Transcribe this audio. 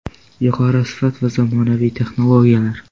Yuqori sifat va zamonaviy texnologiyalar .